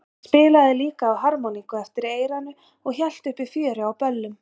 Hann spilaði líka á harmoníku eftir eyranu og hélt uppi fjöri á böllum.